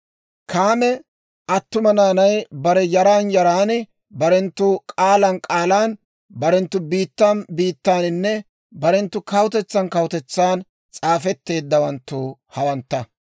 Kaame attuma naanay barenttu yaran yaran, barenttu k'aalan k'aalan, barenttu biittan biittaaninne barenttu kawutetsan kawutetsan s'aafetteeddawanttu hawantta.